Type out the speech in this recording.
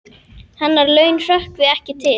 Hennar laun hrökkvi ekki til.